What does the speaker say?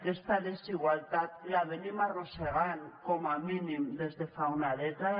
aquesta desigualtat l’arrosseguem com a mínim des de fa una dècada